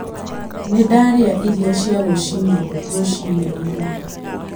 Nĩndaria ĩrio cia rũcinĩ rũcinĩ rũrũ.